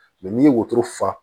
n'i ye wotoro fa